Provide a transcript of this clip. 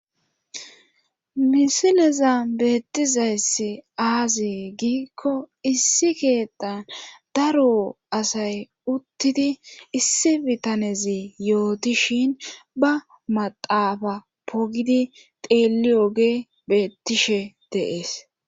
Misileza beettizayssi aazi giikko issi keettan daro asay uttidi issi bitanezi yooti shin ba maxaafa pogidi xeelli oge beettishe deees.